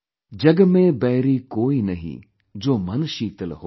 "जगमेंबैरीकोईनहीं, जोमनशीतलहोय